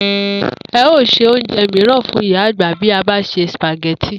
E̩ óò se oúnje̩ mìíràn fún ìyá àgbà bí e̩ bá se sìpàgé̩tì